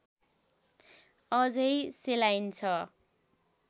अझै सेलाइन्छ